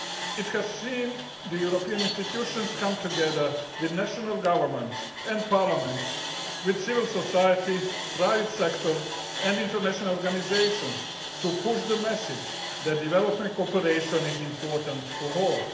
It has seen the European institutions come together with national governments and parliaments, and with civil society and private sector and international organisations, to promote the message that development cooperation is important for all.